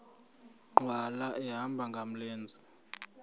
nkqwala ehamba ngamlenze